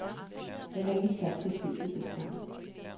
Jeg var ikke i stand til at se det dengang.